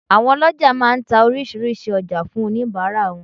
Àwọn olójà má a nta orísìírísìí ojá fún oníbàárà wọn